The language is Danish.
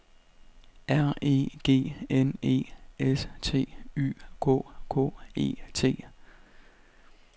R E G N E S T Y K K E T